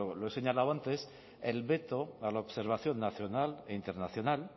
lo he señalado antes el veto para la observación nacional e internacional